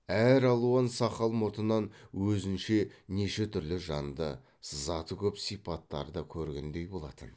әр алуан сақал мұртынан өзінше неше түрлі жанды сызаты көп сипаттарды көргендей болатын